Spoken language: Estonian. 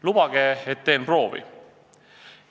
Lubage, ma teen proovi!